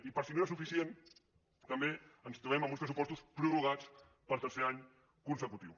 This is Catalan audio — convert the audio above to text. i per si no era suficient també ens trobem amb uns pressupostos prorrogats per tercer any consecutiu